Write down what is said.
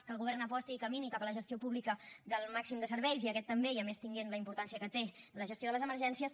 que el govern aposti i camini cap a la gestió pública del màxim de serveis i aquest també i a més tenint la importància que té la gestió de les emergències